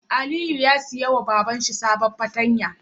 Aliyu ya siya ma Baban sa sabon fartanya